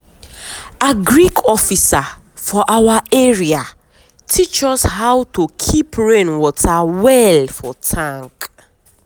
agric officer for our area teach us how to keep rain water well for tank.